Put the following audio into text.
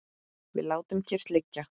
Við látum kyrrt liggja